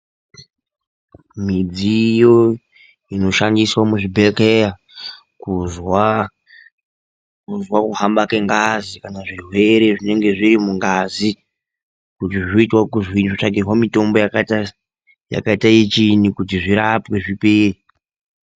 Midziyo inoshandiswa muzvibhedhlera kuzwa kuhamba kwengazi kana zvirwere zvinonga zviri mungazi kuti zvoita ekuzwinyi, zvotsvakirwa mitombo yakadini kuti zvirapwe zvipere.